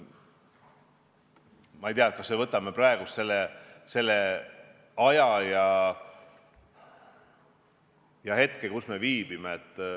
Ma ei tea, võtame kas või selle praeguse aja ja hetke, kus me viibime.